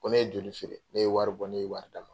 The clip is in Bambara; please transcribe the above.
Ko ne ye joli feere ne ye wari bɔ ne ye wari d'a ma.